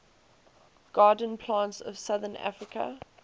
garden plants of southern africa